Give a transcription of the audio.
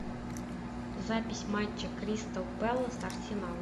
запись матча кристал пэлас арсенал